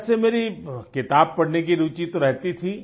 वैसे मेरी किताब पढ़ने की रूचि तो रहती थी